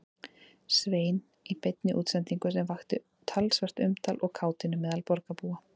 Svein í beinni útsendingu sem vakti talsvert umtal og kátínu meðal borgarbúa.